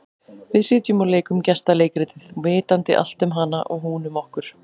Við sitjum og leikum gestaleikritið, vitandi allt um hana og hún um okkur.